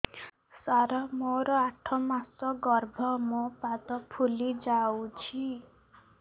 ସାର ମୋର ଆଠ ମାସ ଗର୍ଭ ମୋ ପାଦ ଫୁଲିଯାଉଛି